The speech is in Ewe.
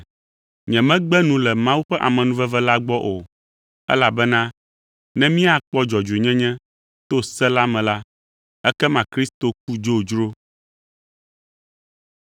Nyemegbe nu le Mawu ƒe amenuveve la gbɔ o, elabena ne míakpɔ dzɔdzɔenyenyenye to se la me la, ekema Kristo ku dzodzro!”